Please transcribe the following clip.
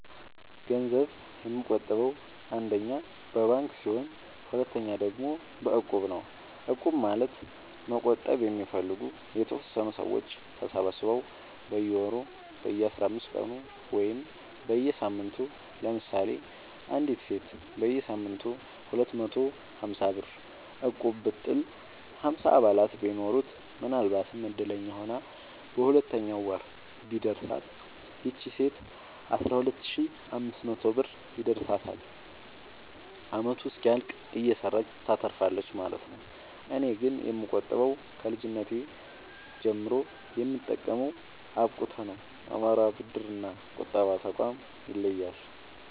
ገንዘብ የምቆ ጥበው አንደኛ በባንክ ሲሆን ሁለተኛ ደግሞ በእቁብ ነው እቁብ ማለት መቁጠብ የሚፈልጉ የተወሰኑ ሰዎች ተሰባስበው በየወሩ በየአስራአምስት ቀኑ ወይም በየሳምንቱ ለምሳሌ አንዲት ሴት በየሳምንቱ ሁለት መቶ ሀምሳብር እቁብጥል ሀምሳ አባላት ቢኖሩት ምናልባትም እድለኛ ሆና በሁለተኛው ወር ቢደርሳት ይቺ ሴት አስራሁለት ሺ አምስት መቶ ብር ይደርሳታል አመቱ እስኪያልቅ እየሰራች ታተርፋለች ማለት ነው። እኔ ግን የምቆጥበው ከልጅነቴ ጀምሮ የምጠቀመው አብቁተ ነው። አማራ ብድር እና ቁጠባ ጠቋም ይለያል።